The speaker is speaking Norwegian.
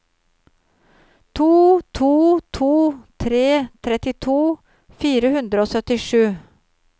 to to to tre trettito fire hundre og syttisju